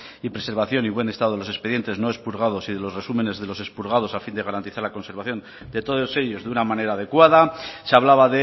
y preservación en buen estado de los expedientes no expurgados y de los resúmenes de los expurgados a fin de garantizar la conservación de todos ellos de una manera adecuada se hablaba